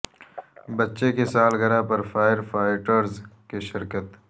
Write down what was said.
بچے کی سالگرہ پر فائر فا ئٹرز کی شرکت